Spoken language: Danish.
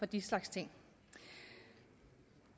den slags ting